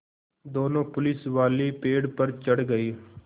दोनों पुलिसवाले पेड़ पर चढ़ गए